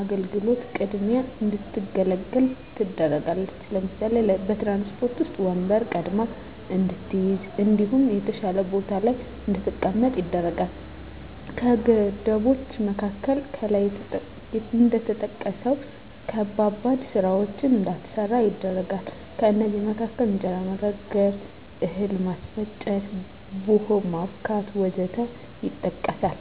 አገልግሎት ቅድሚያ እንድትገለገል ትደረጋለች ለምሳሌ፦ በትራንስፖርት ዉስጥ ወንበር ቀድማ እንድትይዝ እንዲሁም የተሻለ ቦታ ላይ እንድትቀመጥ ይደረጋል። ከገደቦች መካከል ከላይ እንደተጠቀሰዉ ከባባድ ስራወችን እንዳትሰራ ይደረጋል ከእነዚህም መካከል እንጀራ መጋገር፣ እህል ማስፈጨት፣ ቡሆ ማቡካት ወዘተ ይጠቀሳል